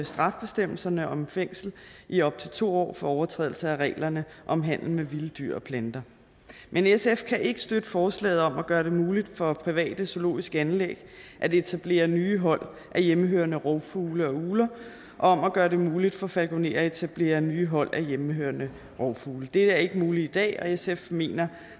straffebestemmelserne om fængsel i op til to år for overtrædelse af reglerne om handel med vilde dyr og planter men sf kan ikke støtte forslaget om at gøre det muligt for private zoologiske anlæg at etablere nye hold af hjemmehørende rovfugle og ugler og om at gøre det muligt for falkonerer at etablere nye hold af hjemmehørende rovfugle det er ikke muligt i dag og sf mener